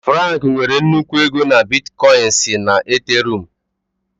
Frank nwere nnukwu ego na Bitkoinsị na Ethereum.